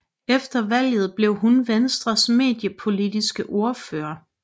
Efter valget blev hun Venstres mediepolitisk ordfører